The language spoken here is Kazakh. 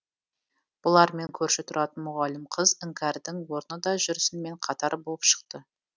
бұлармен көрші тұратын мұғалім қыз іңкәрдің орны да жүрсінмен қатар болып шықты